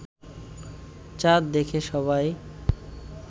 চাঁদ দেখে সবাই